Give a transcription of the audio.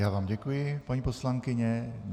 Já vám děkuji, paní poslankyně.